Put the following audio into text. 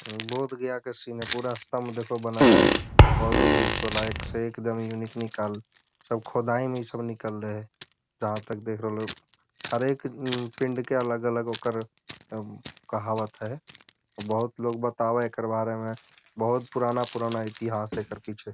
बोध गया के सीन है पूरा स्तम्ब देखो बनल है और वो बीच वाला एकदम यूनिक निकाल सब खुदाई में ई सब निकल लै है जहाँ तक देख रह लूँ हर एक पिंड के अलग-अलग ओकर कहावत है बहोत लोग बतावै है एकर बारे में बहुत पुराना-पुराना इतिहास है एकर पीछे ।